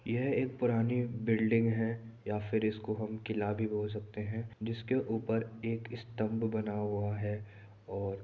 यह एक पुरानी बिल्डिंग है या फिर इसको हम किला भी बोल सकते हैं जिसके ऊपर एक स्तंभ बना हुआ है और--